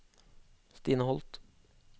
Stine Holth